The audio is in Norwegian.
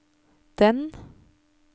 den